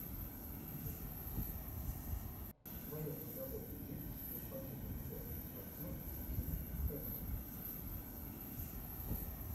в твоем каталоге есть господин никто актер джин хэкмен